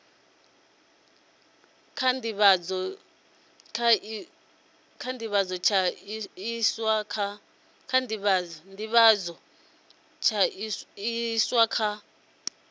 tsha nḓivhadzo tsha iswa kha